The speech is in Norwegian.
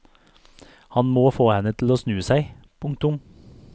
Han må få henne til å snu seg. punktum